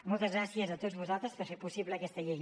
moltes gràcies a tots vosaltres per fer possible aquesta llei